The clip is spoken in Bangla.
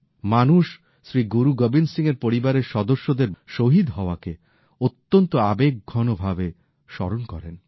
মানুষ শ্রী গুরু গোবিন্দ সিং এর পরিবারের সদস্যদের বরণ করা শহীদ হওয়াকে অত্যন্ত আবেগঘন ভাবে স্মরণ করেন